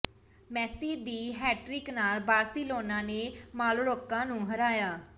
ਮੇਸੀ ਦੀ ਹੈਟ੍ਰਿਕ ਨਾਲ ਬਾਰਸੀਲੋਨਾ ਨੇ ਮਾਲੋਰਕਾ ਨੂੰ ਹਰਾਇਆ